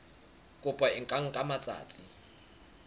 kopo e ka nka matsatsi